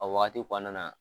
A waati kɔnɔna na.